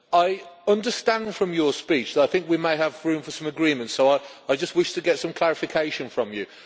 I understand from your speech that we may have room for some agreement, so I just wish to get some clarification from you.